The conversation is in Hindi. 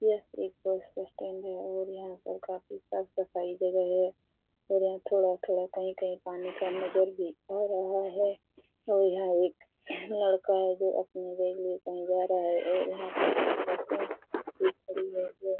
यह एक बस स्टेण्ड है और यहां पर काफी साफ़-सफाई जगह है और यहां थोड़ा-थोड़ा कही-कही पानी का नजर भी आ रहा है और यहां एक लड़का है जो अपनी बाइक ले के कही जा रहा है और यहां बसे खड़ी है जो --